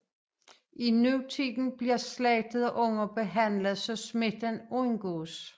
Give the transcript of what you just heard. I nutiden bliver slagtede unger behandlet så smitten undgås